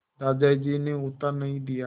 दादाजी ने उत्तर नहीं दिया